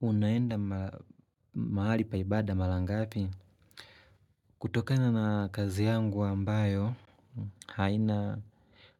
Unaenda mahali pa ibada mara ngapi? Kutokana na kazi yangu ambayo, haina